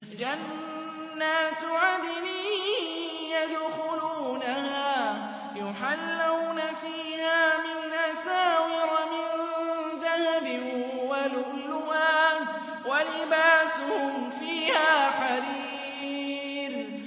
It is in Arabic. جَنَّاتُ عَدْنٍ يَدْخُلُونَهَا يُحَلَّوْنَ فِيهَا مِنْ أَسَاوِرَ مِن ذَهَبٍ وَلُؤْلُؤًا ۖ وَلِبَاسُهُمْ فِيهَا حَرِيرٌ